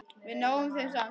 Við náum þeim samt!